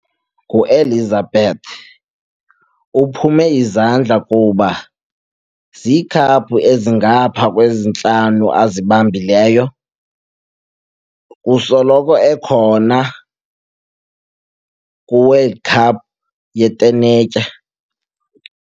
NguElizabeth. Uphume izandla kuba ziikhaphu ezingaphaa kwezintlanu azibambileyo, usoloko ekhona kwiWorld Cup yetenetya.